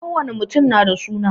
Kowani mutum na da suna